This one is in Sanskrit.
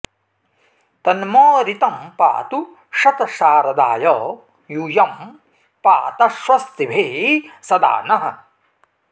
तन्म ऋतं पातु शतशारदाय यूयं पात स्वस्तिभिः सदा नः